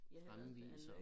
Fremviser